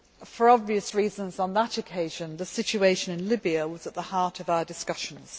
For obvious reasons on that occasion, the situation in Libya was at the heart of our discussions.